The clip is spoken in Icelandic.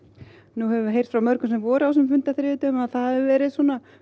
nú höfum við heyrt frá mörgum sem voru á þessum fundi á þriðjudag að það hafi verið